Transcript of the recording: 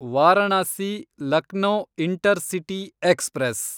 Varanasi Lucknow intercity express